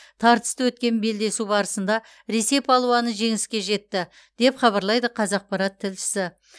тартысты өткен белдесу барысында ресей палуаны жеңіске жетті деп хабарлайды қазақпарат тілшісі